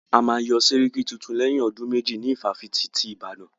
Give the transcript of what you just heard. A máa yán sẹ́ríkí tuntun lẹ́yìn ọdún méjì ní ifáfitì ti Ìbàdàn.